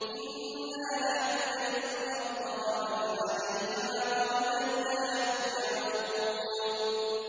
إِنَّا نَحْنُ نَرِثُ الْأَرْضَ وَمَنْ عَلَيْهَا وَإِلَيْنَا يُرْجَعُونَ